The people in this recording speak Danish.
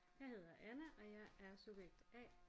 Jeg hedder Anna og jeg er subjekt A